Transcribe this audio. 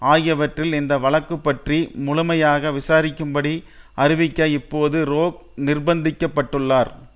ஆகியவற்றில் இந்த வழக்குப்பற்றி முழுமையாக விசாரிக்கும்படி அறிவிக்க இப்போது ரோஹ் நிர்பந்திக்கப்பட்டுள்ளார்